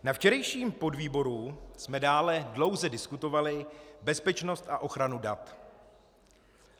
Na včerejším podvýboru jsme dále dlouze diskutovali bezpečnost a ochranu dat.